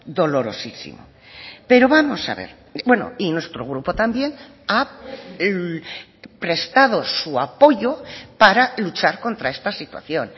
dolorosísimo pero vamos a ver bueno y nuestro grupo también ha prestado su apoyo para luchar contra esta situación